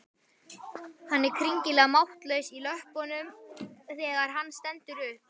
Hann er skringilega máttlaus í löppunum þegar hann stendur upp.